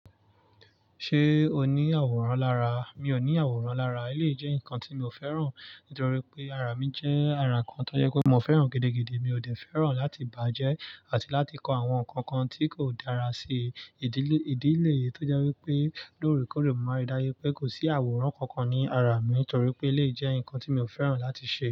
Ṣé o ní àwòrán lára? Mi ò ní àwòrán lára. Eléyìí jẹ́ nǹkan tí mi ò fẹ́ràn nítorí pé ara mi jẹ́ ara kan tó jẹ́ pé mo fẹ́ràn gidi-gidi. Mi ò dé fẹ́ràn láti bàjẹ́ àti láti kọ àwọn nǹkan kan tí kò dára sí ìdí léyìí tó jẹ́ wípé lóórekóórè mo máa rí dájú pé kò sí àwòrán kankan ní ara mi nitorí pé eléyìí jẹ́ nǹkan tí mi ò fẹ́ràn láti ṣe.